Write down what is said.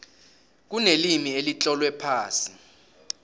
kunelimi elitlolwe phasi